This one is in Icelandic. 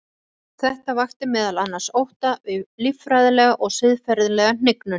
Þetta vakti meðal annars ótta við líffræðilega og siðferðilega hnignun.